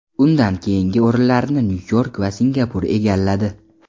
Undan keyingi o‘rinlarni Nyu-York va Singapur egalladi.